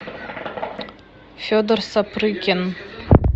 федор сапрыкин